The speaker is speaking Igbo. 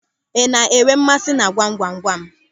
Ị na-enwe mmasị na gwamgwamgwam?